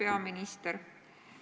Hea peaminister!